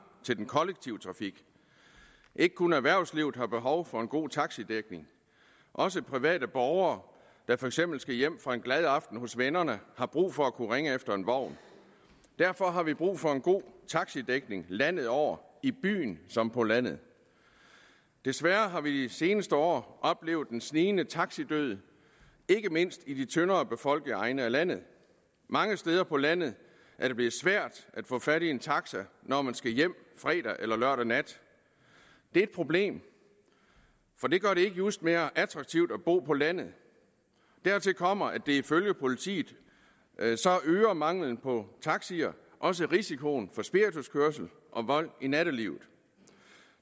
til den kollektive trafik ikke kun erhvervslivet har behov for en god taxidækning også private borgere der for eksempel skal hjem fra en glad aften hos vennerne har brug for at kunne ringe efter en vogn derfor har vi brug for en god taxidækning landet over i byen som på landet desværre har vi i de seneste år oplevet en snigende taxidød ikke mindst i de tyndere befolkede egne af landet mange steder på landet er det blevet svært at få fat i en taxa når man skal hjem fredag eller lørdag nat det er et problem for det gør det ikke just mere attraktivt at bo på landet dertil kommer at ifølge politiet øger mangelen på taxier også risikoen for spirituskørsel og vold i nattelivet